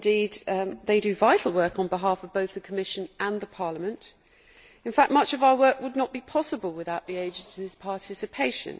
Indeed, they do vital work on behalf of both the Commission and Parliament. In fact, much of our work would not be possible without the agencies' participation.